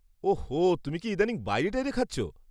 ওঃ হো, তুমি কি ইদানীং বাইরে টাইরে খাচ্ছ?